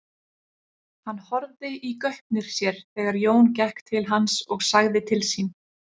Hann horfði í gaupnir sér þegar Jón gekk til hans og sagði til sín.